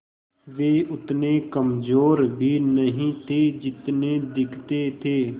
वे उतने कमज़ोर भी नहीं थे जितने दिखते थे